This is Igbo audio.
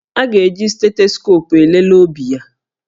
A ga-eji stetoscopu elele obi ya